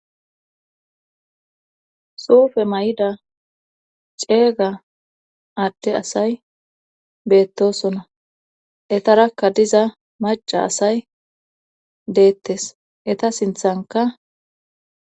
Suufe ma'ida ceega adde asay beettosona etarakka diza maca asay deettes eta sinthanka.